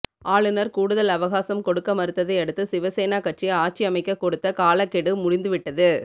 ஆளுநர் கூடுதல் அவகாசம் கொடுக்க மறுத்ததை அடுத்து சிவசேனா கட்சி ஆட்சியமைக்க கொடுத்த காலக்கெடு முடிந்து விட்டது